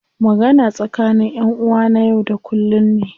Magana tsakani ƴan uwa na yau da kullum ne.